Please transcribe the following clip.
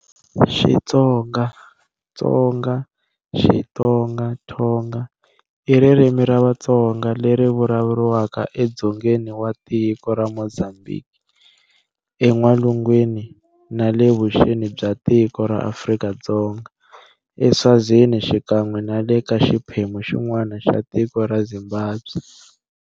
Xitsonga, Tsonga, Xitonga, Thonga,-I ririmi ra Vatsonga leri vulavuriwaka edzongeni wa tiko ra Mozambique, en'walungwini na le vuxeni bya tiko ra Afrika-Dzonga, eSwazini xikan'we na le ka xiphemu xin'wana xa tiko ra Zimbabwe.